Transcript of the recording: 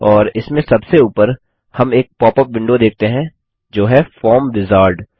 और इसमें सबसे ऊपर हम एक पॉप अप विंडो देखते हैं जो हैः फॉर्म विजार्ड